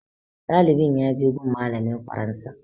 Ɗalibin ya je gun malamin faransa